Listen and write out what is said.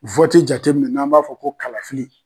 jateminɛ n'an b'a fɔ ko kalafili